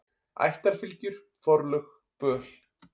Ættarfylgjur, forlög, böl.